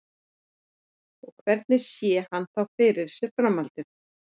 Og hvernig sé hann þá fyrir sér framhaldið?